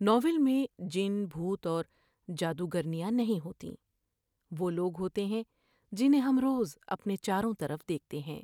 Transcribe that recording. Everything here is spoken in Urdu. ناول میں جن بھوت اور جادوگر نیاں نہیں ہوتیں ، وہ لوگ ہوتے ہیں جنھیں ہم روز اپنے چاروں طرف دیکھتے ہیں ۔